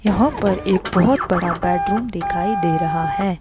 यहां पर एक बहुत बड़ा बेडरूम दिखाई दे रहा है।